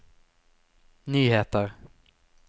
nyheter